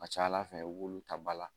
A ka ca ala fɛ i b'olu ta ba la